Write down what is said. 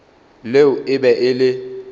leo e be e le